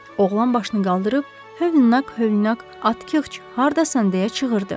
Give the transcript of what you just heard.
Oğlan başını qaldırıb hövnqa, hövnqa, Atkiç, hardasan deyə çığırdı.